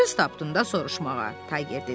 Söz tapdın da soruşmağa.